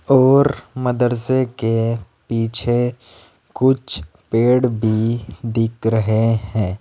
और मदरसे के पीछे कुछ पेड़ भी दिख रहे हैं।